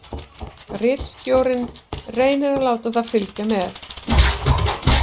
Ritstjórinn reynir að láta það fylgja með.